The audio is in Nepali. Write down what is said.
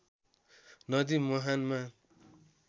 नदी मुहानमा